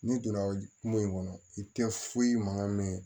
N'i donna kungo in kɔnɔ i tɛ foyi mankan mɛn